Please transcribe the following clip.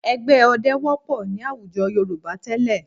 Ẹgbẹ́ ọdẹ wọ́pọ̀ ní àwùjọ Yorùbá tẹ́lẹ̀